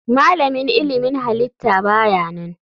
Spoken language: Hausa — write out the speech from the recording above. Malamin ilmin halitta ba ya nan.